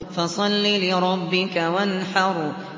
فَصَلِّ لِرَبِّكَ وَانْحَرْ